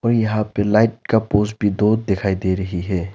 और यहां पे लाइट का पोस भी दो दिखाई दे रही है।